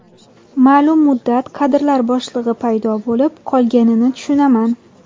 Ma’lum muddat kadrlar bo‘shlig‘i paydo bo‘lib qolganini tushunaman.